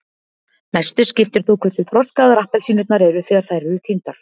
mestu skiptir þó hversu þroskaðar appelsínurnar eru þegar þær eru tíndar